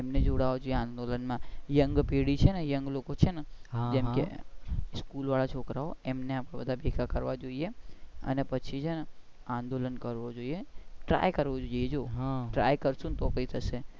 એમને જોડવા થી આંદોલન માં young પેઢી છે ને young લોકો ને છે જેમ કે સ્કૂલ વાળા છોકરાઓ એમને આપણે ભેગા કરવા જોઈએ અને પછી છે ને આંદોલન કરવું જોઈએ try કરવું જોઈયે જો try કરશુ ને તો કઈ થશે.